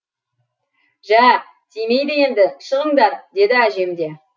жә тимейді енді шығыңдар деді әжем де